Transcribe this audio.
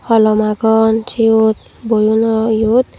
holom agon seyot boyono yot.